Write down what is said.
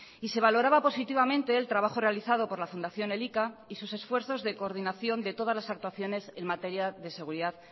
y se valoraba positivamente el trabajo realizado por la fundación elika y sus esfuerzos de coordinación de todas las actuaciones en materia de seguridad